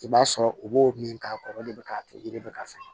I b'a sɔrɔ u b'o min k'a kɔrɔ o de bɛ ka kɛ yiri bɛ ka fɛn